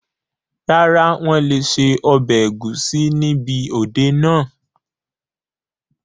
Rárá, wọn lé ṣe ọbẹ̀ ẹ̀gúsí níbi òde náà